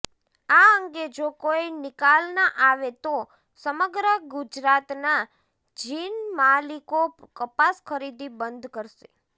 આ અંગે જો કોઈ નિકાલના આવે તો સમગ્ર ગુજરાતના જીનમાલિકો કપાસ ખરીદી બંધ કરશે